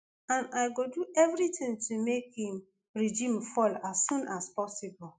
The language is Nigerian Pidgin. and i go do everitin to make im regime fall as soon as possible”.